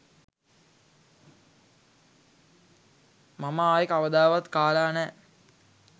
මම ආයේ කවදාවත් කාලා නෑ